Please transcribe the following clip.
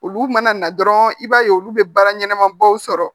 Olu mana na dɔrɔn i b'a ye olu bɛ baara ɲɛnama baw sɔrɔ